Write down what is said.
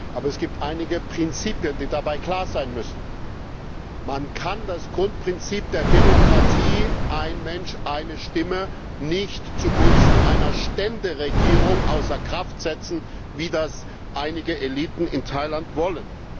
Aber es gibt einige Prinzipien, die dabei klar sein müssen Man kann das Grundprinzip der Demokratie ein Mensch, eine Stimme nicht zugunsten einer Ständeregierung außer Kraft setzen, wie das einige Eliten in Thailand wollen.